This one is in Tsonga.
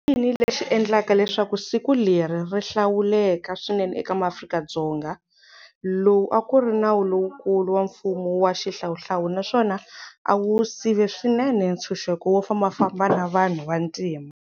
I yini lexi endlaka leswaku siku leri ri hlawuleka swinene eka maAfrika-Dzonga? Lowu akuri nawu lowukulu wa mfumo wa xihlawuhlawu naswona awu sive swinene ntshunxeko wo famba famba wa vanhu va ntima.